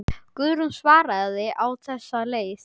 Guðrún svaraði á þessa leið.